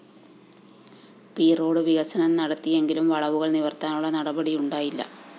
P road വികസം നടത്തിയങ്കിലും വളുകള്‍ നിവര്‍ത്താനുള്ള നടപടി ഉണ്ടായില്ല